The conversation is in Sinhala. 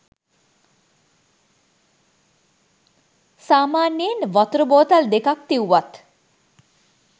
සාමාන්‍යයෙන් වතුර බෝතල් දෙකක් තිවුවත්